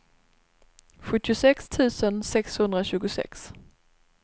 sjuttiosex tusen sexhundratjugosex